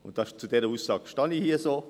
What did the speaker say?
Und zu dieser Aussage stehe ich hier so.